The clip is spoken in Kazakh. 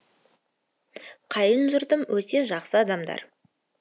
қайын жұртым өте жақсы адамдар